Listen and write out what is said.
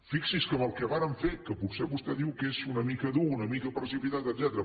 fixi’s que amb el que vàrem fer que potser vostè diu que és una mica dur una mica precipitat etcètera